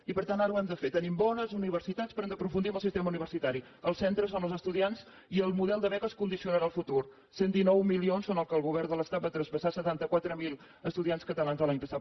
i per tant ara ho hem de fer tenim bones universitats però hem d’aprofundir en el sistema universitari als centres on els estudiants i el model de beques condicionarà el futur cent i dinou milions són el que el govern de l’estat va traspassar a setanta quatre mil estudiants catalans l’any passat